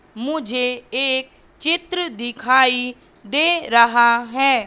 मुझे एक चित्र दिखाई दे रहा हैं।